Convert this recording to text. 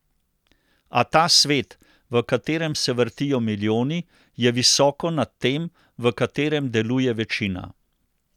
A ta svet, v katerem se vrtijo milijoni, je visoko nad tem, v katerem deluje večina.